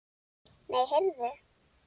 Nei, heyrðu.